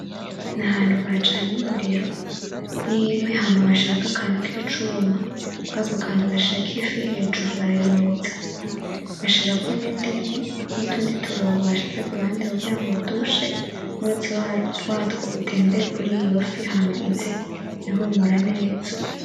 Nahantu bacanye umuriro n'inkwi hama bashirako akantu kicuma .Kuri ako kantu bashirako ifi hejuru barayotsa bashirako n'indimu nutundi tuntu kuruhande kugira ngo dushe umwotsi watwo utembere kuriyo fi hama ize ihumura neza.